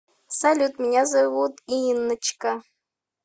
салют меня зовут инночка